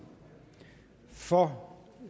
for